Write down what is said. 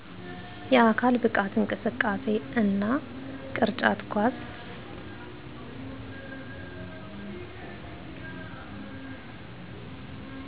የአካል ብቃት እንቅስቃሴ እና ቅርጫት ኳስ